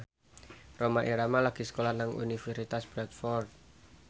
Rhoma Irama lagi sekolah nang Universitas Bradford